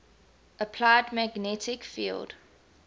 applied magnetic field